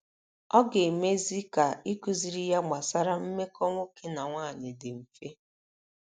Ọ ga - emezi ka ịkụziri ya gbasara mmekọ nwoke na nwaanyị dị mfe.